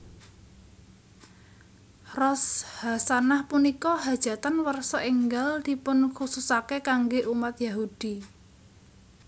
Rosh hasanah Punika hajatan warsa enggal dipunkhususake kangge umat Yahudi